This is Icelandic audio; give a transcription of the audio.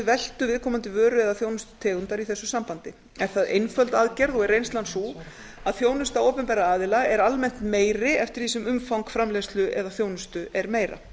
veltu viðkomandi vöru eða þjónustutegundar í þessu sambandi er það einföld aðgerð og er reynslan sú að þjónusta opinberra aðila er almennt meiri eftir því sem umfang framleiðslu eða þjónustu er meira